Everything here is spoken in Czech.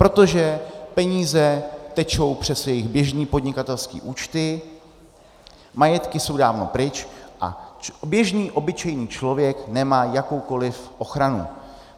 Protože peníze tečou přes jejich běžné podnikatelské účty, majetky jsou dávno pryč a běžný obyčejný člověk nemá jakoukoliv ochranu.